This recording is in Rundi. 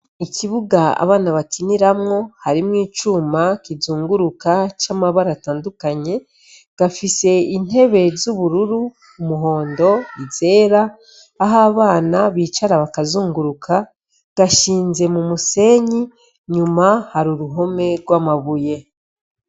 Ikibuga abana bakiniramwo harimwo icuma kinzunguruka c'abara atandukanye gafise intebe z'ubururu, umuhondo, zera ahabana bicara bakanzunguruka gashinze mu musenyi nyuma hari uruhome rw'amabuye.